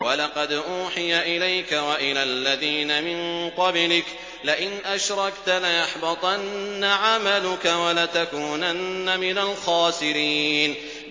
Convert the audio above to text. وَلَقَدْ أُوحِيَ إِلَيْكَ وَإِلَى الَّذِينَ مِن قَبْلِكَ لَئِنْ أَشْرَكْتَ لَيَحْبَطَنَّ عَمَلُكَ وَلَتَكُونَنَّ مِنَ الْخَاسِرِينَ